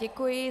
Děkuji.